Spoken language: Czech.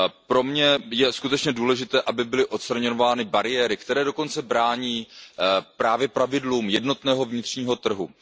Pro mě je skutečně důležité, aby byly odstraňovány bariéry, které dokonce brání právě pravidlům jednotného vnitřního trhu.